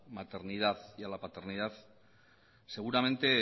maternidad y a la paternidad seguramente